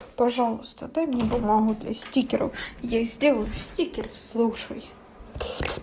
пожалуйста дай мне бумагу для стикеров я сделаю стикеры слушай